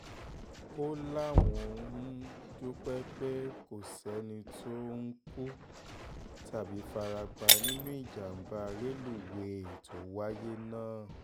ó láwọn um dúpẹ́ pé kò sẹ́ni tó um kú tàbí fara pa nínú ìjàmbá rélùwéè tó wáyé náà